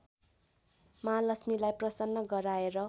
महालक्ष्मीलाई प्रसन्न गराएर